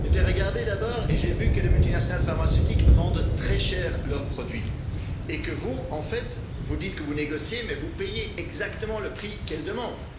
J'ai été regarder d'abord, et j'ai vu que les multinationales pharmaceutiques vendent très cher leurs produits et que vous, en fait, vous dites que vous négociez mais vous payez exactement le prix qu'elles demandent.